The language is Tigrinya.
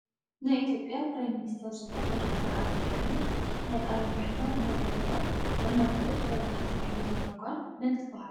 ናይ ኢትዮጵያ ፕራይ ሚኒስቴር ዝኮነ ዶ/ር ኣብይ ኣሕመድ ናይ ቃለ ማሕላ እናገበረ እናኣንበበት ወረቀት ተምሕሎ ዘላ ጋል መን ትበሃል ?